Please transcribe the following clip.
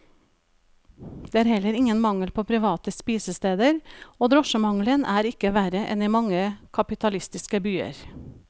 Det er heller ingen mangel på private spisesteder, og drosjemangelen er ikke verre enn i mange kapitalistiske byer.